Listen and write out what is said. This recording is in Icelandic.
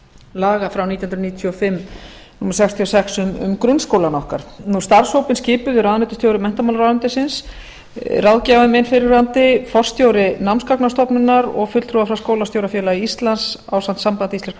laga frá nítján hundruð níutíu og fimm númer sextíu og sex um grunnskólann okkar starfshópinn skipuðu ráðuneytisstjóri menntamálaráðuneytis ráðgjafinn minn fyrrverandi forstjóri námsgagnastofnunar og fulltrúar frá skólastjórafélagi íslands ásamt sambandi íslenskra